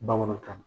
Bamanankan na